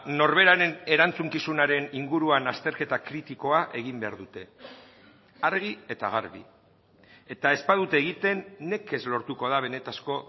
norberaren erantzukizunaren inguruan azterketa kritikoa egin behar dute argi eta garbi eta ez badute egiten nekez lortuko da benetako